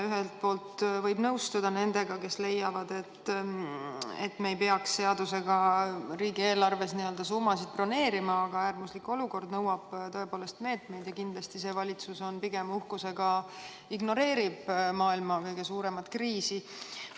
Ühelt poolt võib nõustuda nendega, kes leiavad, et me ei peaks seadusega riigieelarves n-ö summasid broneerima, aga äärmuslik olukord nõuab tõepoolest meetmeid ja kindlasti see valitsus pigem uhkusega ignoreerib maailma kõige suuremat kriisi.